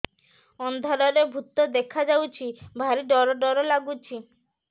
ଅନ୍ଧାରରେ ଭୂତ ଦେଖା ଯାଉଛି ଭାରି ଡର ଡର ଲଗୁଛି